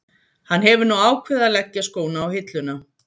Hann hefur nú ákveðið að leggja skóna á hilluna.